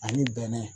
Ani bɛnɛ